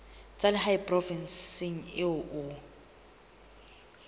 tsa lehae provinseng eo o